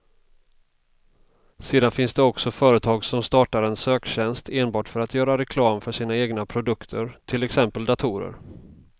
Sedan finns det också företag som startar en söktjänst enbart för att göra reklam för sina egna produkter, till exempel datorer.